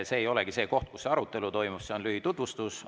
See ei ole see koht, kus arutelu toimub, see on lühitutvustus.